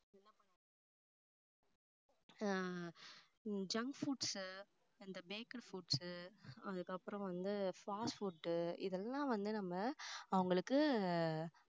உம் junk foods இந்த baked foods அதுக்கப்புறம் வந்து fast food இதெல்லாம் வந்து நம்ம அவங்களுக்கு